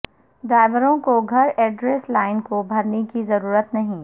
ڈرائیوروں کو گھر address line کو بھرنے کی ضرورت نہیں ہے